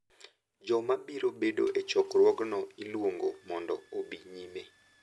Joma biro bedo e chokruogno iluongo mondo obi nyime